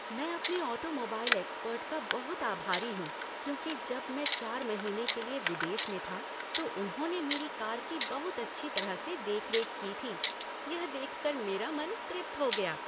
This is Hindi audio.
मैं अपने ऑटोमोबाइल एक्सपर्ट का बहुत आभारी हूँ क्योंकि जब मैं चार महीने के लिए विदेश में था तो उन्होंने मेरी कार की बहुत अच्छी तरह से देखरेख की थी। यह देख कर मेरा मन तृप्त हो गया।